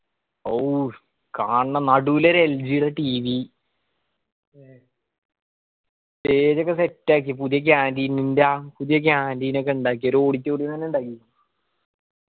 ഔഫ്‌! കാണണം നടൂല് ഒര് LG ര TV stage ഒക്കെ set ആക്കി. പുതിയ canteen പുതിയ canteen ഒക്കെ ഇണ്ടാക്കി. ഒരു auditorium എന്നെ ഇണ്ടാക്കി